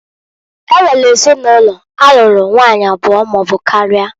E nwere ezinụlọ alụrụ nwanyị abụọ maọbụ karịa.